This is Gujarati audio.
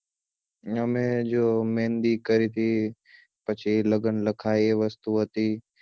અમે જો મેહંદી કરી હતી પછી લગ્ન લખાય એ વસ્તુ હતી